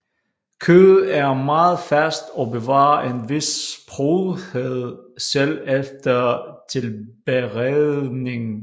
Kødet er meget fast og bevarer en vis sprødhed selv efter tilberedning